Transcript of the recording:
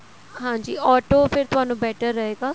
ਹਾਂਜੀ auto ਫ਼ਿਰ ਤੁਹਾਨੂੰ better ਰਹੇਗਾ